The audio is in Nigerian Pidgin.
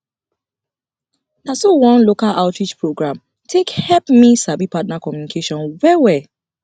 na so one local outreach program program take help me sabi partner communication well well